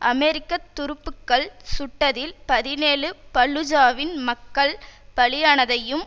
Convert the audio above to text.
அமெரிக்க துருப்புக்கள் சுட்டதில் பதினேழு பல்லூஜாவின் மக்கள் பலியானதையும்